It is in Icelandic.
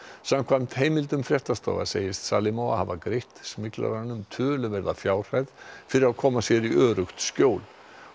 samkvæmt heimildum fréttastofu segist Nargiza hafa greitt töluverða fjárhæð fyrir að koma sér í öruggt skjól